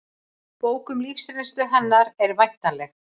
Bók um lífsreynslu hennar er væntanleg